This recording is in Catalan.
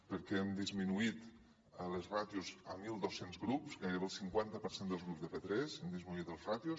perquè hem disminuït els ràtios a mil dos cents grups a gairebé el cinquanta per cent dels grups de p3 hem disminuït les ràtios